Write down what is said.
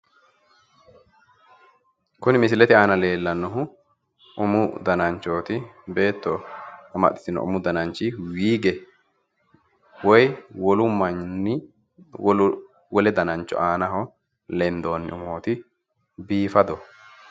kuni misilete aana leellanohu umu dananchooti beetto amaxxitino umu dananchi wiige woyi wolu manni wole danancho aanaho lendoonni umooti biifadoho.